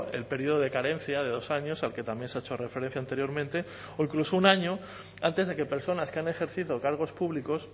el periodo de carencia de dos años al que también se ha hecho referencia anteriormente o incluso un año antes de que personas que han ejercido cargos públicos